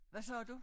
Hvad sagde du?